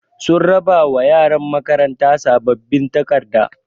Sun raɓa wa ƴaran makaranta saɓɓaɓin taƙarɗa.